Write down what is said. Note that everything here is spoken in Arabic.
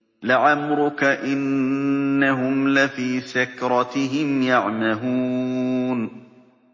لَعَمْرُكَ إِنَّهُمْ لَفِي سَكْرَتِهِمْ يَعْمَهُونَ